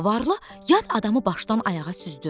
Varlı yad adamı başdan ayağa süzdü.